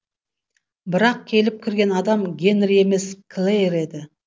бірақ келіп кірген адам гэнри емес клэйр еді